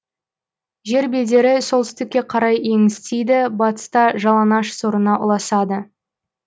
жер бедері солтүстікке қарай еңістейді батыста жалаңаш сорына ұласады